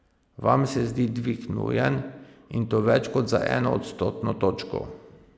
Vam se zdi dvig nujen, in to več kot za eno odstotno točko.